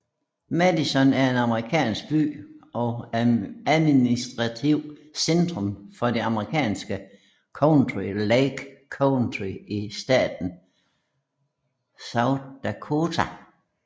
Madison er en amerikansk by og administrativt centrum for det amerikanske county Lake County i staten South Dakota